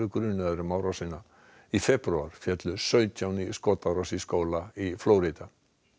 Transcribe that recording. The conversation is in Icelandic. grunaður um árásina í febrúar féllu sautján í skotárás í skóla í Flórída